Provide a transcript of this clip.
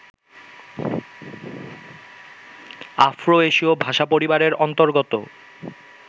Afro এশীয় ভাষাপরিবারের অন্তর্গত